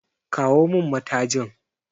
Kawo min matajin!